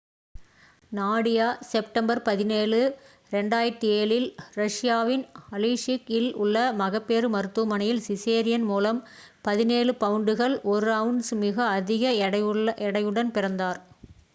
Nadia September 17 2007 இல் ரஷியாவின் அலீஸ்க் இல் உள்ள மகப்பேறு மருத்துவமனையில் சிசேரியன் மூலம் 17 பவுண்டுகள் 1 அவுன்ஸ் மிக அதிக எடையுடன் பிறந்தார்